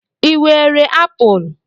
Ị were apụl?